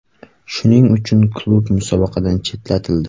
Shuning uchun klub musobaqadan chetlatildi.